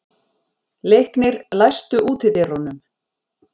Leiknir, læstu útidyrunum.